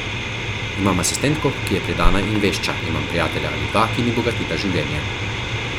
Imam asistentko, ki je predana in vešča, imam prijatelja ali dva, ki mi bogatita življenje.